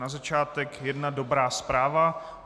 Na začátek jedna dobrá zpráva.